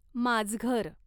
माजघर